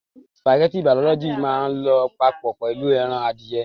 Spàgẹ́ti bologínísìì máà ń lọ papọ̀ pẹ̀lu ẹran adìyẹ.